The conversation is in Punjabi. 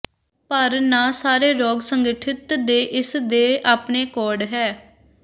ਪਰ ਨਾ ਸਾਰੇ ਰੋਗ ਸੰਗਠਿਤ ਦੇ ਇਸ ਦੇ ਆਪਣੇ ਕੋਡ ਹੈ